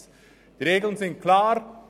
Die Regeln sind klar: